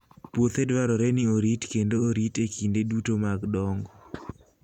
Puothe dwarore ni orit kendo orit e kinde duto mag dongo.